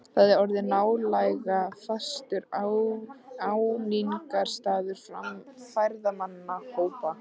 Þar er orðinn nálega fastur áningarstaður ferðamannahópa.